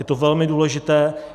Je to velmi důležité.